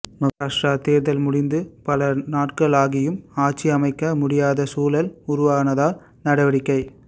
மகாராஷ்டிரா தேர்தல் முடிந்து பல நாட்கள் ஆகியும் ஆட்சியமைக்க முடியாத சூழல் உருவானதால் நடவடிக்கை